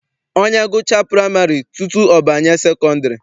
Onye gụchaa praịmarị tutu ọ banye sekọndịrị.